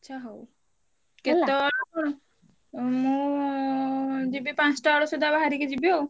ଆଚ୍ଛା ହଉ। କେତବେଳେ ମୁଁ ଯିବି ପାଞ୍ଚଟା ବେଳ ସୁଦ୍ଧା ବାହାରିକି ଯିବି ଆଉ।